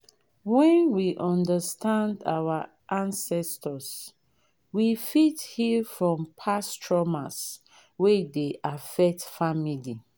when we understand our ancestors we fit heal from past traumas wey dey affect family